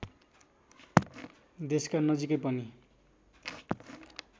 देशका नजिकै पनि